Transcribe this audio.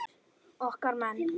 Okkar menn